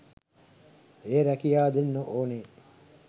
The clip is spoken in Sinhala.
ඒ රැකියා දෙන්න ඕනේ